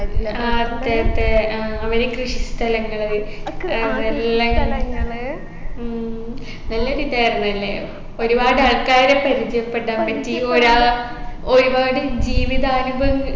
ആ അതെ അതെ ആ അവർ കൃഷിസ്ഥലങ്ങള് എല്ലാം കാണി ഉം നല്ലൊരിതായിരുന്നു അല്ലേ ഒരുപാട് ആൾക്കാരെ പരിചയപ്പെടാൻ പറ്റി ഒരാൾ ഒരുപാട് ജീവിതാനുഭവങ്